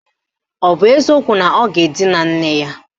Ọ bụ eziokwu na ọ ga-edina nne ya?